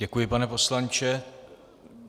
Děkuji, pane poslanče.